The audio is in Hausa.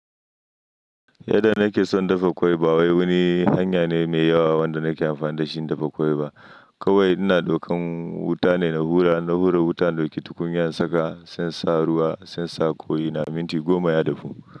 Yanda nake son dafa ƙwai ɓa wai wani hanya ne mai yawa wanda nake amfani da shi in dafa ƙwaiɓa. Kawai ina daukan wuta ne na hura, in na hura wuta in ɗauki tukunya in saka sai in sa ruwa sai in sa ƙwai na, minti goma ya dafu.